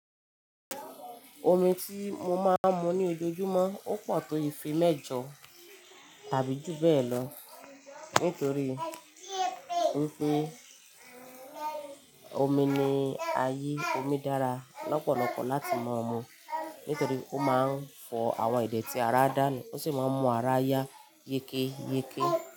Omi tí mo máa ń mu ní ojoojúmọ́ ó pọ̀ tó ife mẹ́jọ tàbí jù bẹ́ẹ̀ lọ nítorí pé omi ni ayé, omi dára lọ́pọ̀lọpọ̀ láti máa mu nítorí ó máa ń fọ àwọn idètí ara dánù, ó sì máa ń mú ara yá yékéyéké.